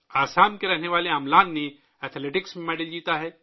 آسام کے رہنے والے املان نے ایتھلیٹکس میں تمغہ جیتا ہے